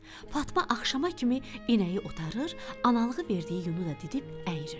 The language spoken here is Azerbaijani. Fatma axşamacan inəyi otarır, analığı verdiyi yunu da didib əyirirdi.